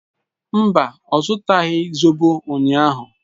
Mba, ọ zụtaghị zobo ụnyahụ